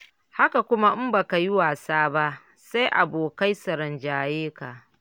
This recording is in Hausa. Haka kuma in ba ka yi wasa ba, sai abokai su rinjaye ka.